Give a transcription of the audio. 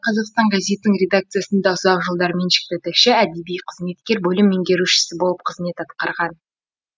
қазақстан газетінің редакциясында ұзақ жылдар меншікті тілші әдеби қызметкер бөлім меңгерушісі болып қызмет атқарған